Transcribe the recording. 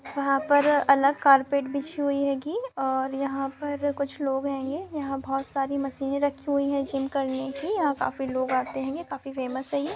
वहाँ पर अलग कारपेट बिछाई हुई होगी और यहाँ पर पर कुछ लोग होंगे । यहाँ पर पर बोहत सारी मशीने रखी हुई है। जिम करने की यहाँ पर काफी लोग आते होंगे। काफी फ़ेमस है ये।